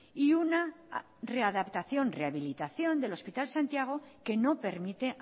y una readaptación rehabilitación del hospital santiago que no permite